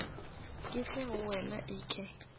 ke tle go wena eke